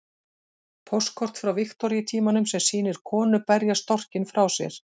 Póstkort frá Viktoríutímanum sem sýnir konu berja storkinn frá sér.